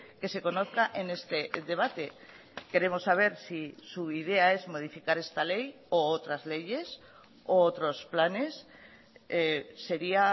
que se conozca en este debate queremos saber si su idea es modificar esta ley u otras leyes u otros planes sería